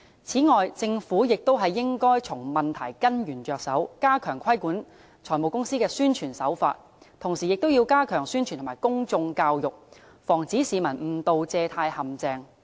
此外，政府亦應從問題根源着手，加強規管財務公司的宣傳手法，同時亦要加強宣傳及公眾教育，防止市民誤墮借貸陷阱。